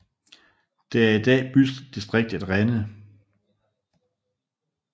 De er i dag i bydistriktet Renhe